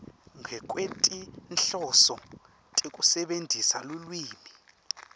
ngekwetinhloso tekusebentisa lulwimi